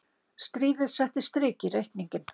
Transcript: Stríðið setti strik í reikninginn.